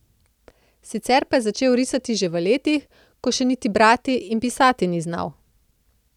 Sicer pa je začel risati že v letih, ko še niti brati in pisati ni znal.